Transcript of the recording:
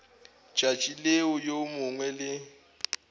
tšatši leo yo mongwe le